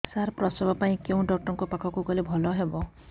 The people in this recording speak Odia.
ସାର ପ୍ରସବ ପାଇଁ କେଉଁ ଡକ୍ଟର ଙ୍କ ପାଖକୁ ଗଲେ ଭଲ ହେବ